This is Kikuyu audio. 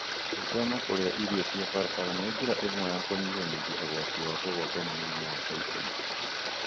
Gwĩthema kũrĩa irio cia barabara nĩ njĩra ĩmwe ya kũnyihanyihia ũgwati wa kũgwatwo nĩ mũrimũ wa typhoid.